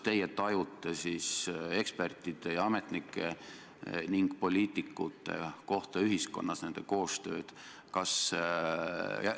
Millisena teie tajute ekspertide, ametnike ning poliitikute kohta ühiskonnas, nende koostööd?